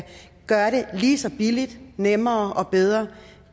gøre det lige så billigt nemmere og bedre